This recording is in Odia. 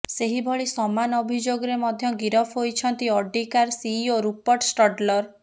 ସେହିଭଳି ସମାନ ଅଭିଯୋଗରେ ମଧ୍ୟ ଗିରଫ ହୋଇଛନ୍ତି Audi car CEO Rupert Stadler